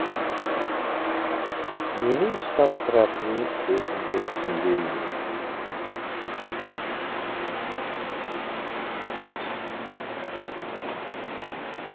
ненің ұстап тұратынын өзім де түсінбеймін